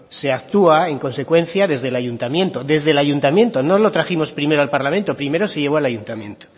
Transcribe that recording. se actúa en consecuencia desde el ayuntamiento desde el ayuntamiento no lo trajimos primero al parlamento primero se llevó al ayuntamiento